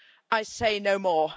I say no more.